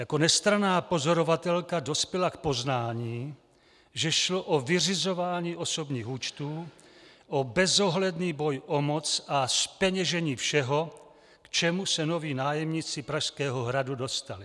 Jako nestranná pozorovatelka dospěla k poznání, že šlo o vyřizování osobních účtů, o bezohledný boj o moc a zpeněžení všeho, k čemu se noví nájemníci Pražského hradu dostali.